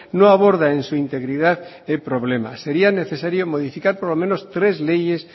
no aborda en su integridad el problema sería necesario modificar por lo menos tres leyes